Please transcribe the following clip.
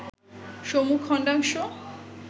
সম্মুখ খণ্ডাংশ